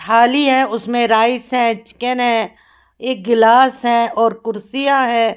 थाली है उसमें राईस है चिकन है एक गिलास है और कुर्सियां है।